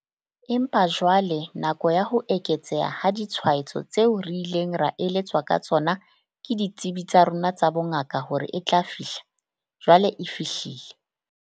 Empa jwale nako ya ho eketseha ha ditshwaetso tseo re ileng ra eletswa ka tsona ke ditsebi tsa rona tsa bongaka hore e tla fihla, jwale e fihlile.